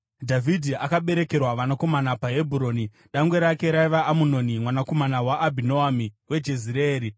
Dhavhidhi akaberekerwa vanakomana paHebhuroni: Dangwe rake raiva Amunoni mwanakomana waAbhinoami weJezireeri;